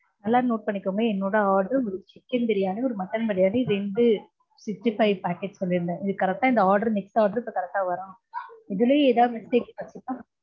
நல்லா note பண்ணிக்கோங்க. என்னோட order ஒரு chicken பிரியாணி, ஒரு mutton பிரியாணி, ரெண்டு sixty five packet சொல்லிருந்தேன். correct இந்த order next order இப்போ correct டா வரனும். இதுலையும் எதாவது mistakes பண்ணிங்கனா